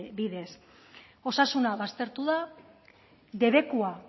bidez osasuna baztertu da debekua